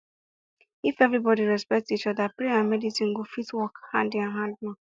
if everybody respect each other prayer and medicine go fit work hand in hand